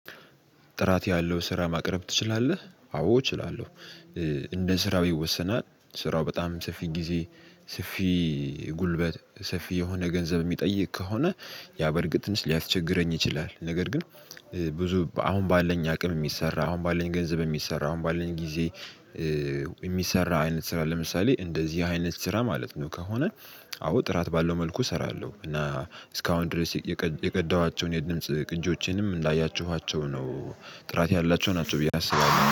ጥራት ያለው ስራ ማቅረብ ትችላለህ? አዎ እችላለሁ። እንደ ስራው ይወሰናል ስራው በጣም ሰፊ ጊዜ፣ ሰፊ ጉልበት፣ ሰፊ የሆነ ገንዘብ የሚጠይቅ ከሆነ ያ በእርግጥ ትንሽ ሊያስቸግረኝ ይችላል ነገር ግን ብዙ አሁን ባለን አቅም የሚሰራ፣ አሁን ባለን ገንዘብ የሚሰራ፣ አሁን ባለን ጊዜ የሚሰራ አይነት ስራ ለምሳሌ እንደዚህ አይነት ስራ ማለት ነው ከሆነ አዎ ጥራት ባለው መልኩ እሰራለሁ እና እስካሁን ድረስ የቀዳኋቸውን የድምጽ ቅንጆቼንም እንዳያችኋቸው ነው ጥራት ያላቸው ናቸው ብዬ አስባለሁ።